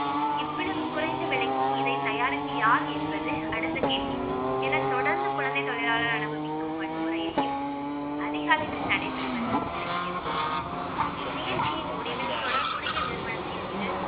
இவ்வளவு குறைந்த விலைக்கு இதை தயாரித்தது யார் என்பது அடுத்த கேள்வி என தொடர்ந்து குழந்தை தொழிலாளர் அனுபவிக்கும் வன்முறையையும், அதிக அளவில் நடைபெறுவதையும் விளக்கியது நிகழ்ச்சியின் முடிவில் தொடர்புடைய நிறுவனத்தின் மீது